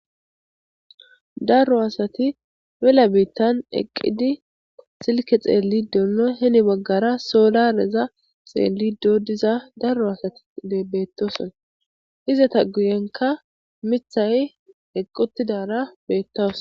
Darro assati mela bittani eqiddi silikke xeliddi dossona. Henni baggara soolareza xelidi diza darro assati betossona. Izata guyenika mithayi eqi utidara betawusu